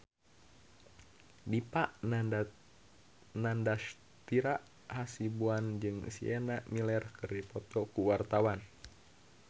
Dipa Nandastyra Hasibuan jeung Sienna Miller keur dipoto ku wartawan